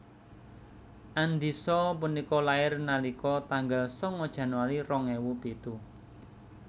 Andisa punika lair nalika tanggal sanga Januari rong ewu pitu